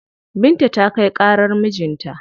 Binta ta kai ƙarar mijin ta.